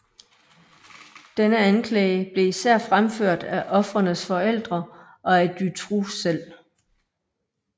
Denne anklage blev især fremført af ofrenes forældre og af Dutroux selv